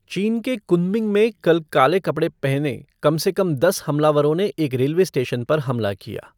चीन के कुनमिंग में कल काले कपड़े पहने कम से कम दस हमलावरों ने एक रेलवे स्टेशन पर हमला किया।